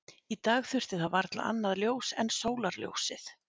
Í dag þurfti það varla annað ljós en sólarljósið.